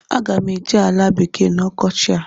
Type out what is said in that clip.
Aga m eje ala bekee na ọkọchị a.